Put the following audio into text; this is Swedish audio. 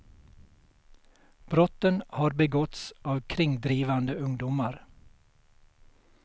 Brotten har begåtts av kringdrivande ungdomar.